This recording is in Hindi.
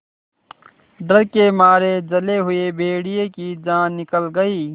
डर के मारे जले हुए भेड़िए की जान निकल गई